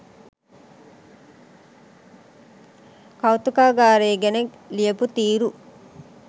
කෞතුකාගාරය ගැන ලියපු තීරු